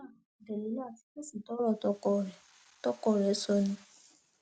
jelilat fèsì sọrọ tọkọ rẹ tọkọ rẹ sọ ọ ni